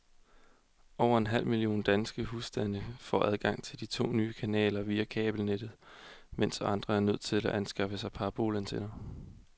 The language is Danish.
Over en halv million danske husstande får adgang til de to nye kanaler via kabelnettet, mens andre er nødt til at anskaffe sig parabolantenner.